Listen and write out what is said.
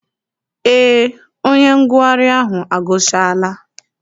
Eé, onye ngụgharị ahụ agụchaala.